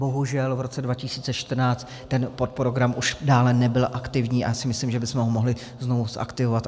Bohužel v roce 2014 ten podprogram už dále nebyl aktivní a já si myslím, že bychom ho mohli znovu zaktivovat.